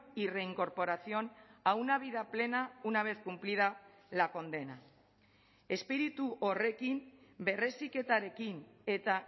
y reincorporación a una vida plena una vez cumplida la condena espiritu horrekin berreziketarekin eta